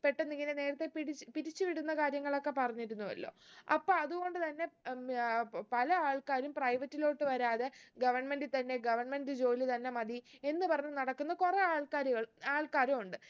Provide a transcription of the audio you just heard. പെട്ടെന്ന് ഇങ്ങനെ നേരത്തെ പിടിച്ച് പിരിച്ച് വിടുന്ന കാര്യങ്ങളൊക്കെ പറഞ്ഞിരുന്നുവല്ലോ അപ്പൊ അത് കൊണ്ട് തന്നെ ഉം ആഹ് പ് പല ആൾക്കാരും private ലോട്ട് വരാതെ government ഇ തന്നെ government ജോലി തന്നെ മതി എന്ന് പറഞ്ഞ് നടക്കുന്ന കുറേ ആൾക്കാരുകൾ ആൾക്കാരു ഉണ്ട്